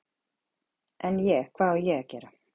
En, ég, hvað á ég að gera?